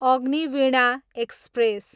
Agniveena express